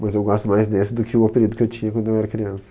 Mas eu gosto mais desse do que o apelido que eu tinha quando eu era criança.